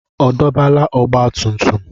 Ọ dọbala ọgbatumtum?